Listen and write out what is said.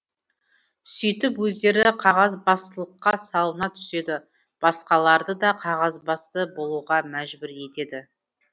сөйтіп өздері қағазбастылыққа салына түседі басқаларды да қағазбасты болуға мәжбүр етеді